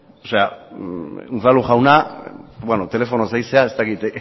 unzalu jauna beno telefonoz ari zara ez dakit